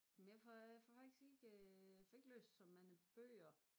Men jeg får jeg får faktisk ikke jeg får ikke læst så mange bøger